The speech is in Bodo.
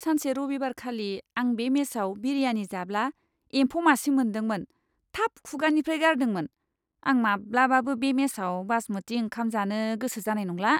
सानसे रबिबारखालि, आं बे मेसाव बिरियानी जाब्ला एम्फौ मासे मोन्दोंमोन, थाब खुगानिफ्राइ गारदोंमोन। आं माब्लाबाबो बे मेसआव बासमती ओंखाम जानो गोसो जानाय नंला।